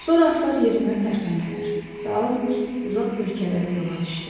Sonra atlar yerindən tərpəndilər və Avqust uzaq ölkələrə yola düşdü.